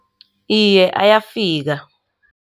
Iye, ayafika.